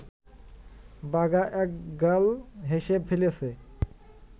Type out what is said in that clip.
বাঘা একগাল হেসে ফেলেছে